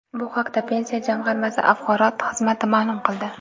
Bu haqda Pensiya jamg‘armasi axborot xizmati ma’lum qildi .